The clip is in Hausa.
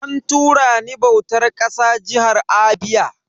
An tura ni bautar ƙasa jihar Abia.